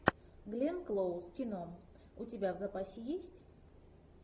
гленн клоуз кино у тебя в запасе есть